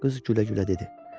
Qız gülə-gülə dedi.